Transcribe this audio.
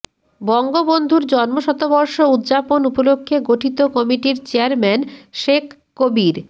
বঙ্গবন্ধুর জন্মশতবর্ষ উদযাপন উপলক্ষে গঠিত কমিটির চেয়ারম্যান শেখ কবির